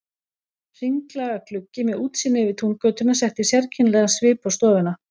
Hringlaga gluggi með útsýni yfir Túngötuna setti sérkennilegan svip á stofuna.